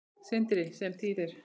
Sindri: Sem þýðir?